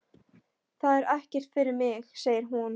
Það er ekkert fyrir mig, segir hún.